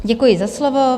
Děkuji za slovo.